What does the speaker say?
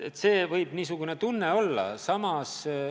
See võib niisugune tunne olla.